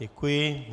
Děkuji.